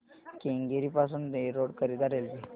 केंगेरी पासून एरोड करीता रेल्वे